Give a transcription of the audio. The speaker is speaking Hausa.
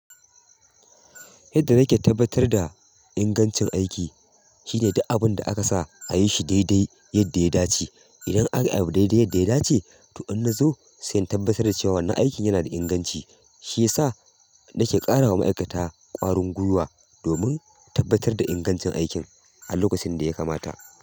Yadda nake tabbatar da ingancin aiki shine duk abun da aka sa a yi shi daidai yadda ya dace. Idan aka yi abu daidai yadda ya dace, toh in na zo sai in tabbatar da cewa wannan aikin yana da inganci. Shi ya sa nake ƙara wa ma'aikata ƙwarin gwiwa domin tabbatar da ingancin aikin a lokacin da ya kamata.